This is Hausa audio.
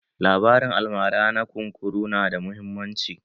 Labarin almara na kunkuru na da muhimmanci